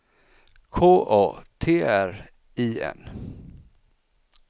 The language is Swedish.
K A T R I N